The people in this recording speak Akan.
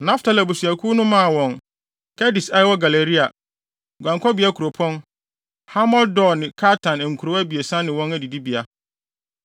Naftali abusuakuw no maa wɔn Kedes a ɛwɔ Galilea (guankɔbea kuropɔn), Hamot-Dor ne Kartan nkurow abiɛsa ne wɔn adidibea.